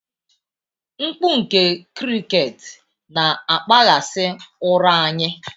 Mkpu nke cricket na-akpaghasị ụra anyị